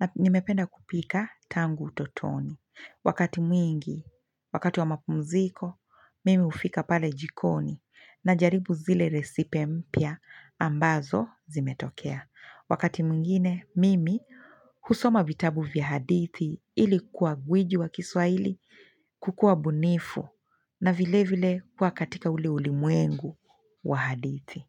Na nimependa kupika tangu utotoni. Wakati mwingi, wakati wa mapumziko, mimi ufika pale jikoni. Na jaribu zile recipe mpya ambazo zimetokea. Wakati mwingine, mimi husoma vitabu vya hadithi ili kuwa gwiji wa kiswaili kukua bunifu. Na vile vile kuwa katika ule ulimuengu wa hadithi.